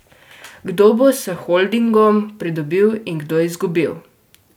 Kdo bo s holdingom pridobil in kdo izgubil?